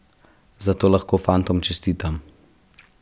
Zato lahko fantom čestitam.